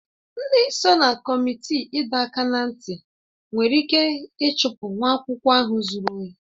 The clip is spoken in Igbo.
Ndị so na kọmitii ịdọ aka ná ntị nwere ike ịchụpụ nwa akwụkwọ ahụ zuru ohi